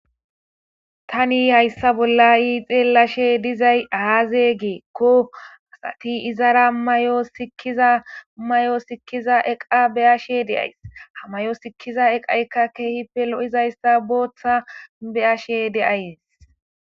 Tani hayssa bolla iixeelashe dizay aaze geekko asati izara may'o sikkiza may'o sikkiza eqa beyashe deays hamay'o sikkiza eqayka keehipelo'izayssa booththa beyashe deayes.